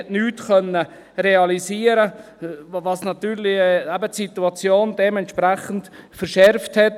Man hat nichts realisieren können, was natürlich die Situation dementsprechend verschärft hat.